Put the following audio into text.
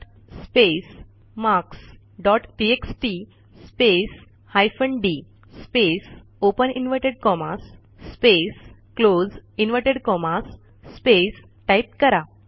cut space marks dot TXT space hyphen D space open inverted commas space close inverted commas space type करा